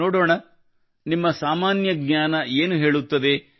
ನೋಡೋಣ ನಿಮ್ಮ ಸಾಮಾನ್ಯ ಜ್ಞಾನ ಏನು ಹೇಳುತ್ತದೆ